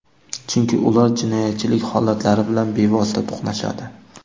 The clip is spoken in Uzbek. Chunki ular jinoyatchilik holatlari bilan bevosita to‘qnashadi.